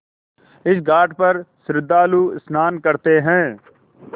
इस घाट पर श्रद्धालु स्नान करते हैं